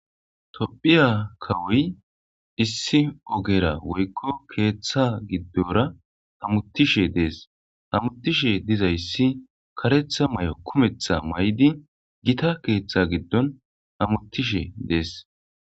tophiya kawoy issi ogera woykko keeththa giddora hamutishe dees hamutishe dizayssi karetha may7o kumetha may7di gita Teeththa giddon hamuttishe dees.